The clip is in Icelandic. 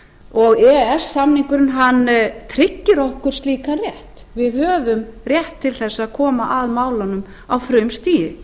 og e e s samningurinn tryggir okkur slíkan rétt við höfum rétt til þess að koma að málunum á frumstigi